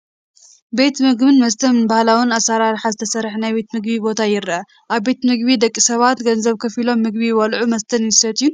ቤት ምግብን መስተን፡- ብባህላዊ ኣሰራርሓ ዝተሰርሐ ናይ ቤት ምግቢ ቦታ ይረአ፡፡ ኣብ ቤት ምግቢ ደቂ ሰባት ገንዘብ ከፊሎም ምግቢ ይበልዑን መስተ ይሰትዩን፡፡